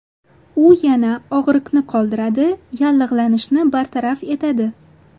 U yana og‘riqni qoldiradi, yallig‘lanishni bartaraf etadi.